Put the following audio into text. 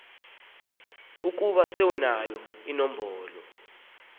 ukuba sewunayo inombolo